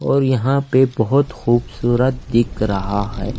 और यहां पे बहोत खूबसूरत दिख रहा है।